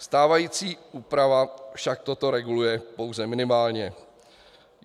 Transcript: Stávající úprava však toto reguluje pouze minimálně.